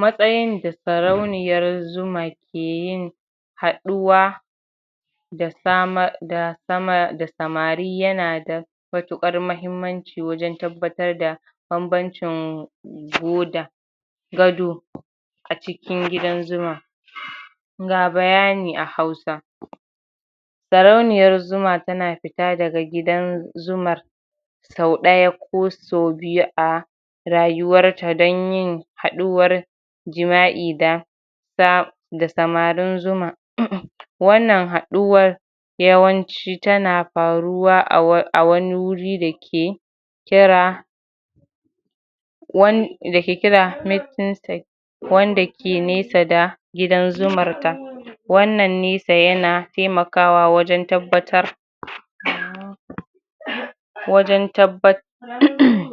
matsayin da sarauniyar zuma ke yin haɗuwa da sama da sama da samari yana da matuƙar mahimmanci wajen tabbatar da banbancin gado a cikin gidan zuma ga bayani a hausa sarauniyar zuma tana fita daga gidan zumar sau ɗaya ko sau biyu a rayuwarta dan yin haɗuwar jima'i da da samarin zuma wannan haɗuwar yawanci tana farwa a wani wuri dake kira wan dake kira meetin stage wanda ke nesa da gidan zumar ta wannan nesa yana taimakawa wajen tabbatar wajen tabba [uhmm]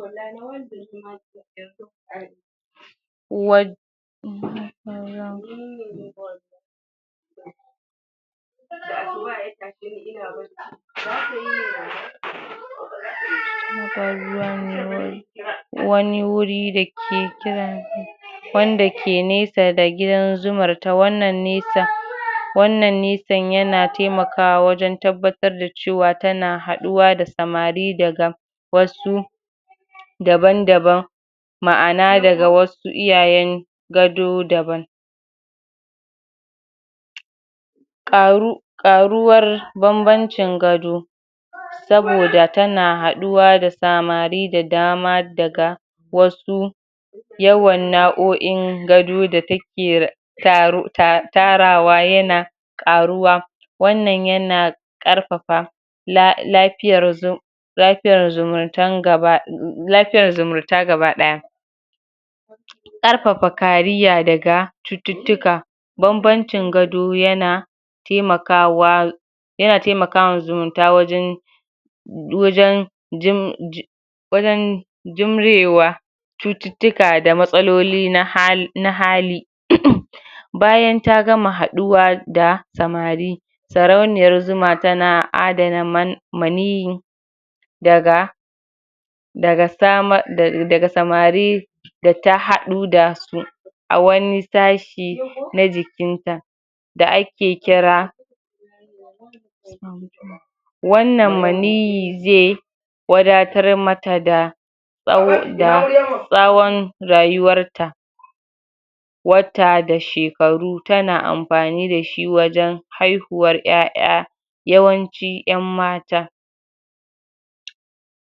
wani guri dake kira wanda ke nesa gidan zumar ta wannan nesa wannan nesan yana taimakawa wajen tabbatar da cewa tana haɗuwa da samari daga wasu daban-daban ma'ana daga wasu iyayen gado daban ƙaru ƙaruwar banbancin gabo saboda tana haɗuwa da samari da dama daga wasu yawan nau'o'in gado da take taru tarawa yana ƙaruwa wannan yana ƙarfafa la lafiyar zu lafiyar zumntan gaba lafiyar zumunta gaba ɗaya ƙarfafa kariya daga cututtuka banbancin gado yana taimakawa yana taimakawa zumunta wajen wajen jin jin wajen jimrewa cututtuka da matsaloli na hali bayan ta gama haɗuwa da samari sarauniyar zuma tana adana man maniyyi daga daga sama daga samari data haɗu dasu a wani sashi na jikin ta. da ake kira wannan maniyyi zai wadatar mata da tsawo da tsawon rayuwar ta wata da shekaru tana amfani dashi wajen haihuwar ƴaƴa yawanci ƴan mata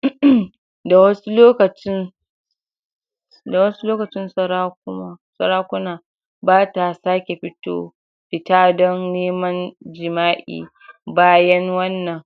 [uhmm] da wasu lokacin da wasu lokacin sarakuna bata sake fito fita dan neman jima'i bayan wannan.